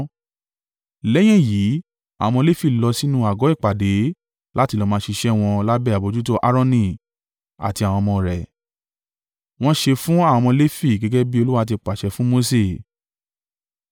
Lẹ́yìn èyí àwọn ọmọ Lefi lọ sínú àgọ́ ìpàdé láti lọ máa ṣiṣẹ́ wọn lábẹ́ àbojútó Aaroni àti àwọn ọmọ rẹ̀. Wọ́n ṣe fún àwọn ọmọ Lefi gẹ́gẹ́ bí Olúwa ti pàṣẹ fún Mose.